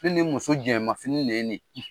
Ne ni n muso jɛman fini ne ye nin;